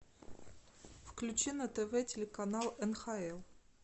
включи на тв телеканал нхл